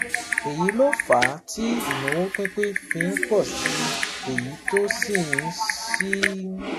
Èyí ló fà á tí ìnáwó pínpín fi ń pọ̀ sí i, èyí tó sì ń sì ń